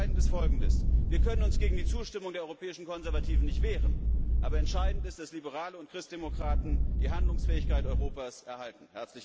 Entscheidend ist Folgendes Wir können uns gegen die Zustimmung der Europäischen Konservativen nicht wehren, aber entscheidend ist, dass Liberale und Christdemokraten die Handlungsfähigkeit Europas erhalten.